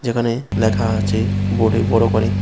এখানে লেখা আছে বোর্ডে বড় করে।